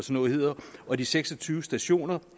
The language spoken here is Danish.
noget hedder og de seks og tyve stationer